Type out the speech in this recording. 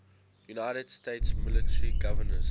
united states military governors